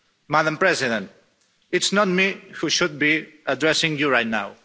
Madame President, it's not me who should be addressing you right now.